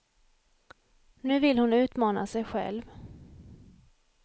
Nu vill hon utmana sig själv.